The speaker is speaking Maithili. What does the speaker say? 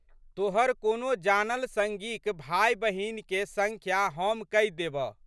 तोहर कोनो जानल संगीक भाइबहिनके संख्या हम कहि देबह।